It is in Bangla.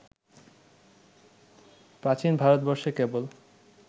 প্রাচীন ভারতবর্ষে কেবল